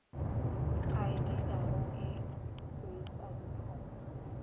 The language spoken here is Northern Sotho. a diilago e huetša diphetho